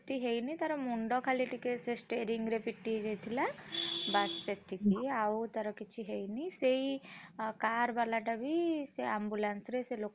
ହେଇନି। ତାର ମୁଣ୍ଡ ଖାଲି ଟିକେ ସେ stearing ରେ ପିଟି ହେଇଯାଇଥିଲା। ବାସ ସେତିକି ଆଉ ତାର କିଛି ହେଇନି, ସେଇ car ବାଲାଟା ବି ସେ ambulance ରେ ସେ।